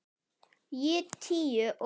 Ég tíu og